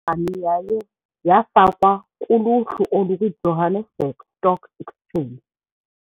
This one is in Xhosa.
Yaye yafakwa kuluhlu olukwiJohannesburg Stock Exchange.